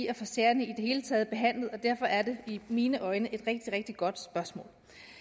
at få sagerne behandlet og derfor er det i mine øjne et rigtig rigtig godt spørgsmål